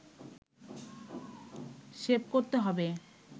save করতে হবে